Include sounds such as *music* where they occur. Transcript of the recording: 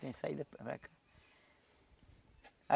Tem saída para *unintelligible*